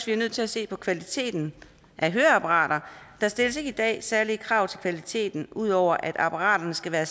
vi er nødt til at se på kvaliteten af høreapparater der stilles ikke i dag særlige krav til kvaliteten ud over at apparaterne skal være